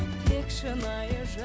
тек шынайы